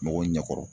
Mɔgɔw ɲɛ kɔrɔ